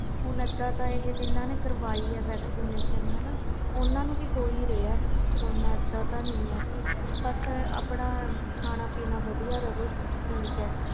ਹੁਣ ਇਹਦਾ ਤਾ ਹੈ ਜਿਨ੍ਹਾਂ ਤੇ ਕਾਰਵਾਈ ਆ vaccine ਓਹਨੂੰ ਵੀ ਹੋ ਰਹੇ ਕਰੋਂਨਾ ਬਸ ਇਹਦਾ ਹੀ ਆਪਣਾ ਖਾਣਾ ਪੀਨਾ ਸਹੀ ਰਹੇ